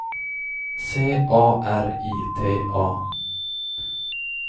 C A R I T A